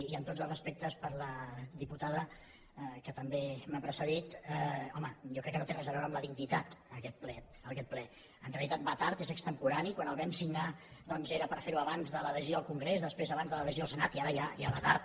i amb tots els respectes per la diputada que també m’ha precedit home jo crec que no té res a veure amb la dignitat aquest ple en realitat va tard és extemporani quan el vam signar doncs era per fer ho abans de la decisió al congrés després abans de la decisió del senat i ara ja va tard